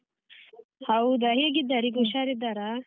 ಹೌದಾ ಹೇಗಿದ್ದಾರೆ ಈಗ ಉಷಾರಿದ್ದಾರಾ?